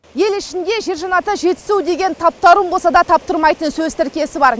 ел ішінде жер жаннаты жетісу деген таптарын болсада таптырмайтын сөз тіркесі бар